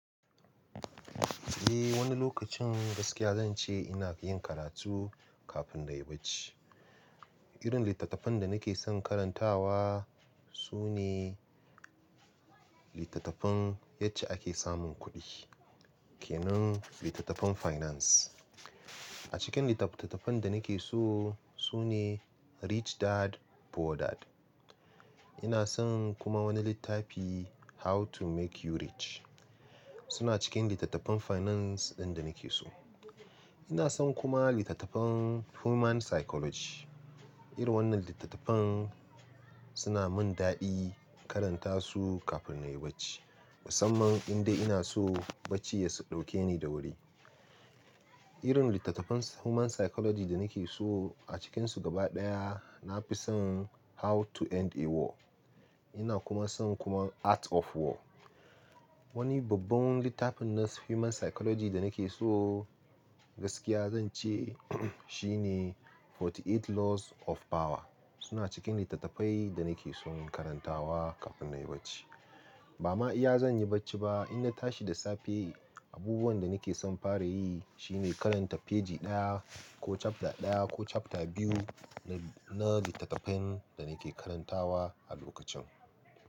Eh wani lokacin gaskiya zan ce ina yin karatu kafin na yi barci. Irin littattafan da nake son karantawa su ne littattafan yadde ake samun kuɗi, kenan littattafan finance. A cikin littattafan da nake so su ne Rich Dad Poor Dad. Ina son kuma wani littafi How to Make You Rich. Suna cikin littattafan finance ɗin da nake so. Ina son kuma littattafan human psychology. Irin wannan littattafan suna mun daɗin karanta su kafin na yi bacci. Musamman inde ina son barci ya dauke ni da wuri. Irin littattafan human psychology da nake so a cikinsu gaba ɗaya na fi son How to End a War. Ina kuma son kuma Art of War. Wani babban littafin human psychology da nake so gaskiya zan ce shi ne 48 Laws of Power. Suna cikin littattafai da nake son karantawa kafin na yi bacci. Ba ma iya zan yi barci ba idan na tashi da safe. Abubuwan da nake son fara yi shi ne karanta feji ɗaya ko chapter ɗaya ko chapter biyu na littattafan da nake karantawa a lokacin.